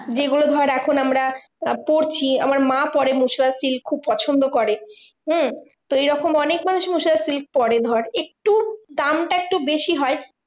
যেগুলো ধর এখন আমরা পড়ছি, আমার মা পরে মুর্শিদাবাদ silk খুব পছন্দ করে। হম তো এইরকম অনেক মানুষ মুর্শিদাবাদ silk পরে ধর একটু দামটা একটু বেশি হয়